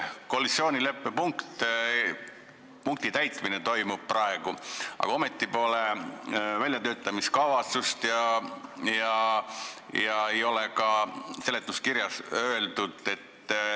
Praegu toimub koalitsioonileppe punkti täitmine, aga ometi pole väljatöötamiskavatsust ega ole ka seletuskirjas seda öeldud.